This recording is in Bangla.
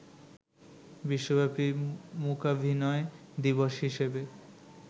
বিশ্বব্যাপী মূকাভিনয় দিবস হিসেবে